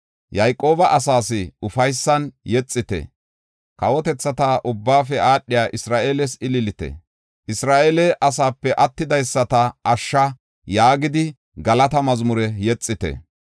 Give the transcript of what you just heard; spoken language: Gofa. “Yayqooba asaas ufaysan yexite; kawotethata ubbaafe aadhiya Isra7eeles ililite. ‘Isra7eele asaape attidaysata ashsha’ yaagidi galata mazmure yexite.